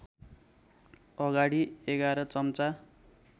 अगाडि ११ चम्चा